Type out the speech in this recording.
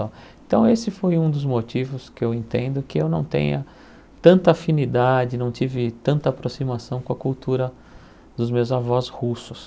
então esse foi um dos motivos que eu entendo que eu não tenha tanta afinidade, não tive tanta aproximação com a cultura dos meus avós russos.